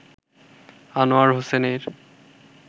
আনোয়ার হোসেনের